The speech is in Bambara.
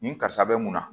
Nin karisa bɛ mun na